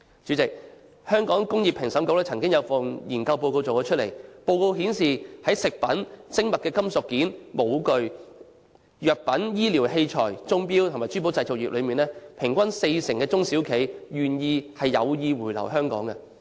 主席，香港工業專業評審局曾經做過一份研究報告，報告顯示，在食品、精密金屬件、模具、藥品、醫療器材、鐘錶、珠寶製造業中，平均約四成中小企業表示有意回流香港。